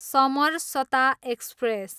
Samarsata express